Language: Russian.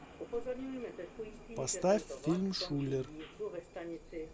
поставь фильм шулер